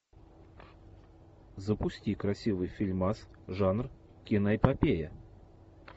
запусти красивый фильмас жанр киноэпопея